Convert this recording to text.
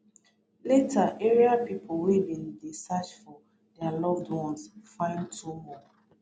later area pipo wey bin dey search for dia loved ones find two more